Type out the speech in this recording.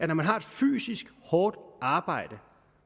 når man har et fysisk hårdt arbejde